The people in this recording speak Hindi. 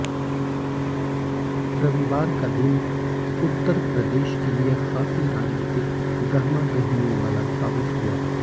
रविवार का दिन उत्तर प्रदेश के लिए खासी राजनीतिक गहमागहमियों वाला साबित हुआ